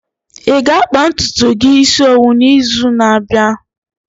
Ị ga-akpa ntutu gi isi owu n'izu na-abịa?